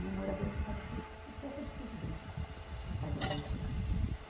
E o morador já estava se, se perca de tudo dentro de casa, por causa das enchentes.